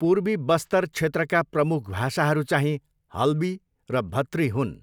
पूर्वी बस्तर क्षेत्रका प्रमुख भाषाहरू चाहिँ हल्बी र भत्री हुन्।